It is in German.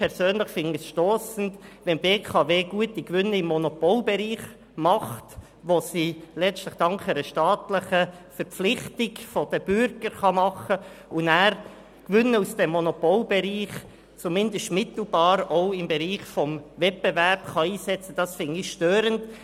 Persönlich finde ich es stossend, wenn die BKW gute Gewinne im Monopolbereich letztlich dank einer staatlichen Verpflichtung der Bürger erzielt und diese zumindest mittelbar anschliessend auch im Bereich des Wettbewerbs einsetzen kann.